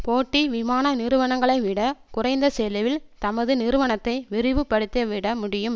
போட்டி விமான நிறுவனங்களைவிட குறைந்த செலவில் தமது நிறுவனத்தை விரிவுபடுத்தி விடமுடியும்